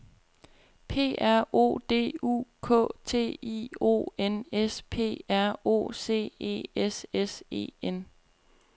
P R O D U K T I O N S P R O C E S S E N